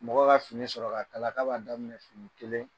Mɔgɔ ka fini sɔrɔ k'a b'a daminɛ fini kelen